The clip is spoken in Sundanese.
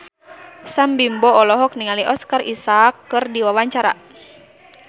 Sam Bimbo olohok ningali Oscar Isaac keur diwawancara